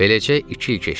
Beləcə iki il keçdi.